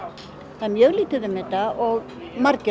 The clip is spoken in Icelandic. það er mjög lítið um þetta og margir á